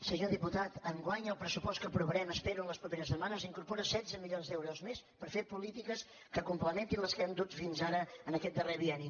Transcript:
senyor diputat enguany el pressupost que aprovarem ho espero en les properes setmanes incorpora setze mi·lions d’euros més per fer polítiques que complementin les que hem dut fins ara en aquest darrer bienni